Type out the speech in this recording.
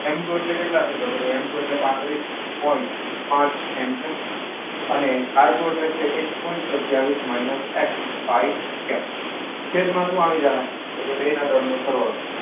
એમ two એટલે કેટલા છે એટલે કે ભાઈ એમ ટુ એટલે પાત્રીસ પોઇન્ટ પાંચ એમ છે. અને આર ટુ એટલે કે એક પોઈન્ટ સત્તાવીસ માઇનસ એક્સ છેદમાં શું આવી જાહે એટલે કે એના દળનો સરવાળો.